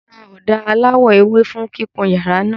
Mo ra ọ̀dà aláwọ̀ ewé fún kíkun yàrá náà.